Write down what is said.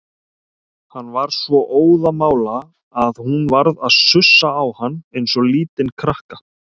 Hann var svo óðamála að hún varð að sussa á hann eins og lítinn krakka.